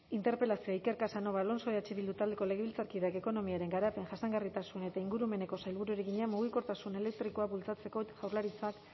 interpelazioa iker casanova alonso eh bildu taldeko legebiltzarkideak ekonomiaren garapen jasangarritasun eta ingurumeneko sailburuari egina mugikortasun elektrikoa bultzatzeko jaurlaritzak